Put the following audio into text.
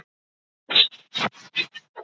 Hugrún Halldórsdóttir: Er hann seldur erlendis?